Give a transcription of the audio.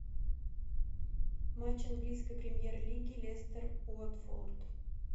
матч английской премьер лиги лестер уотфорд